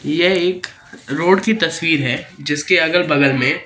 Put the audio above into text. यह एक रोड की तस्वीर है जिसके अगल बगल मे--